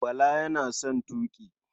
Bala yana son tuƙi.